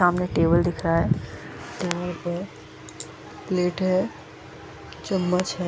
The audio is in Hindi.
सामने एक टेबल दिख रहा है टेबल पे प्लेट हैं चम्मच हैं।